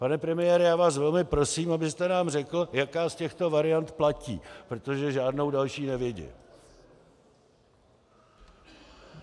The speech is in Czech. Pane premiére, já vás velmi prosím, abyste nám řekl, jaká z těchto variant platí, protože žádnou další nevidím.